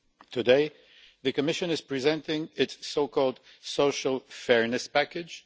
Today, the Commission is presenting its so called Social Fairness Package.